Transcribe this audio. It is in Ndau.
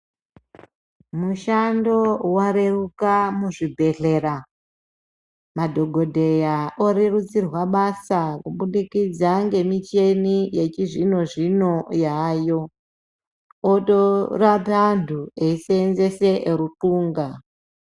Mushando wareruka mu zvibhedhlera madhokodheya o rerutsirwa basa ku budikidza nge micheni yechi zvino zvino yayo oto rape antu eyi senzese ru ndxunda.